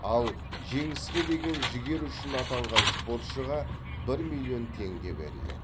ал жеңіске деген жігері үшін атанған спортшыға бір миллион теңге беріледі